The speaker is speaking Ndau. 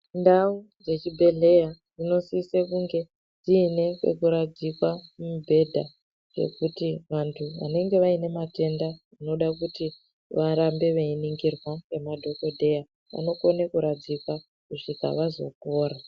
Ndau dzechibhedhleya dzinosise kunge dziine pekuradzikwa mubhedha yekuti vantu vanenge vane matenda anode kuti varambe veiningirwa ngemadhokodheya vanokone kuradzikwa kusvika vazopora.